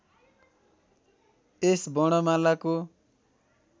यस वर्णमालाको